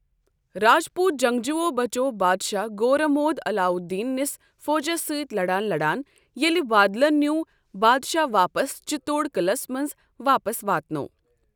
راجپوٗت جنٛگجوٗوو بَچوو بادشاہ گورا موٗد علاودیٖن نِس فوجس سۭتۍ لَڑان لَڑان ییٚلہِ بادِلن نیٛوٗ بادشاہ واپس چِتوڈ قلعس منٛزواپس واتنوو۔